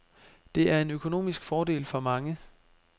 Det er en økonomisk fordel for mange.